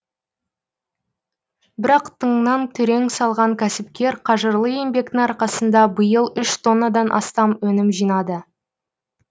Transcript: бірақ тыңнан түрең салған кәсіпкер қажырлы еңбектің арқасында биыл үш тоннадан астам өнім жинады